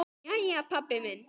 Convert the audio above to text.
Jæja, pabbi minn.